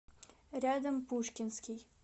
рядом пушкинский